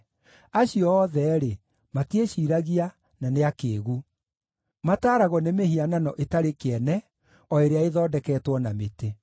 Acio othe-rĩ, matiĩciiragia, no nĩ akĩĩgu; mataaragwo nĩ mĩhianano ĩtarĩ kĩene o ĩrĩa ĩthondeketwo na mĩtĩ.